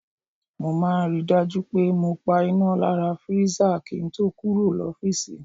Mo máa ń ri dájú pé mo pa iná lára freezer kí ń to kúrò l'ofiisi.